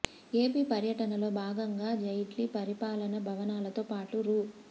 AP పర్యటనలో భాగంగా జైట్లీ పరిపాలనా భవనాలతో పాటు రూ